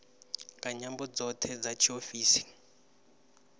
nga nyambo dzoṱhe dza tshiofisi